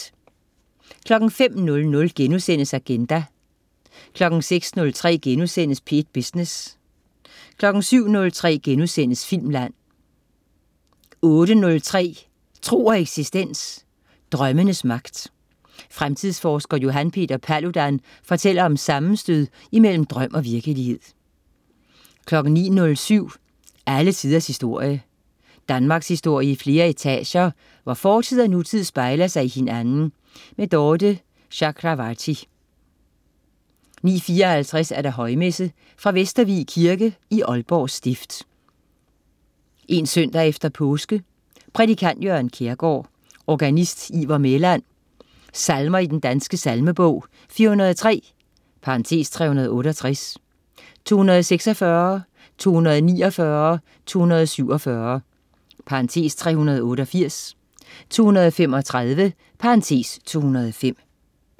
05.00 Agenda* 06.03 P1 Business* 07.03 Filmland* 08.03 Tro og eksistens. Drømmenes magt. Fremtidsforsker Johan Peter Paludan fortæller om sammenstød imellem drøm og virkelighed 09.07 Alle tiders historie. Danmarkshistorie i flere etager, hvor fortid og nutid spejler sig i hinanden. Dorthe Chakravarty 09.54 Højmesse. Fra Vestervig Kirke (Aalborg Stift). 1 søndag efter påske. Prædikant: Jørgen Kjærgaard. Organist: Ivar Mæland. Salmer i Den Danske Salmebog: 403 (368), 246, 249, 247 (388), 235 (205)